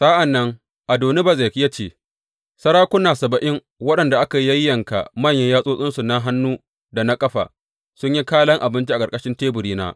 Sa’an nan Adoni Bezek ya ce, Sarakuna saba’in waɗanda aka yayyanka manyan yatsotsinsu na hannu da na ƙafa, sun yi kalan abinci a ƙarƙashin teburina.